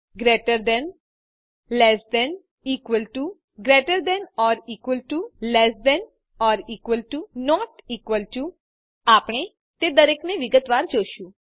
greater than less than 000113 000013 equal to greater than or equal to less than or equal to not equal to આપણે તે દરેકને વિગતવાર જોશું